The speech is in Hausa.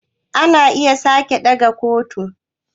Ana iya saki daga kotu